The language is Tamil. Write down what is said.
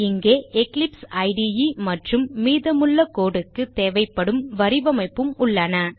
இங்கே எக்லிப்ஸ் இடே மற்றும் மீதமுள்ள code க்கு தேவைப்படும் வரிவமைப்பும் உள்ளன